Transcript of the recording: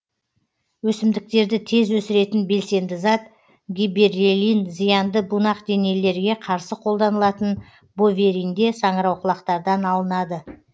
өсімдіктерді тез өсіретін белсенді зат гибереллин зиянды бунақденелілерге қарсы қолданылатын боверинде саңырауқұлақтардан алынады